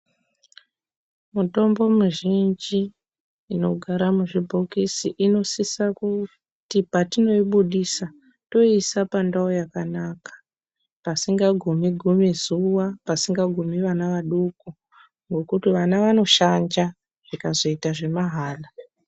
Mutombo mizhinji unogara muzvibhokisi inosisa kuti patoibudisa toiisa pandau yakanaka pasingagumi gumi zuwa, pasingagumi vana vadoko ngekuti vana vanoshanda zvikazoita zvemahala.